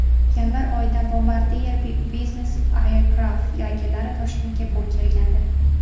Yanvar oyida Bombardier Business Aircraf vakillari Toshkentga kelgandi.